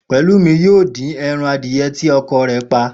Pè̩lúmi yóò dín e̩ran adìye̩ tí o̩ko̩ rè̩ pa